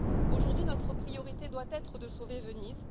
Aujourd'hui, notre priorité doit être de sauver Venise.